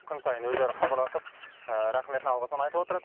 күн сайын өздері хабарласып рахметін алғысын айтып отырады